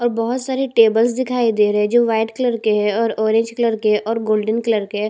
और बहुत सारे टेबल्स दिखाई दे रहे हैं जो व्हाइट कलर के हैं ऑरेंज कलर के है और गोल्डन कलर के है।